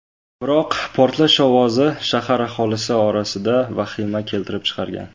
Biroq portlash ovozi shahar aholisi orasida vahimani keltirib chiqargan.